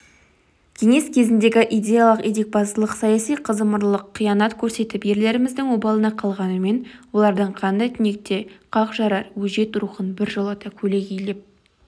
кеңес кезіндегі идеялық етекбастылық саяси қазымырлық қиянат көрсетіп ерлеріміздің обалына қалғанымен олардың қандай түнекті де қақ жарар өжет рухын біржолата көлегейлеп